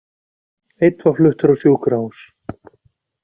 Einn var fluttur á sjúkrahús